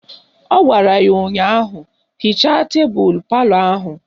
Ọ gwara ya ụnyaahụ " Hichaa tebelu palọ ahụ"!